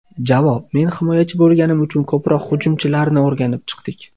Javob: Men himoyachi bo‘lganim uchun ko‘proq hujumchilarni o‘rganib chiqdik.